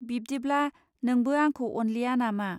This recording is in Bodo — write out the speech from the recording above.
बिब्दिब्ला नोंबो आंखौ अनलिया नामा?